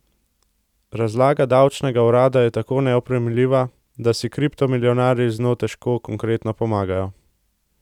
Razlaga davčnega urada je tako neoprijemljiva, da si kriptomilijonarji z njo težko konkretno pomagajo.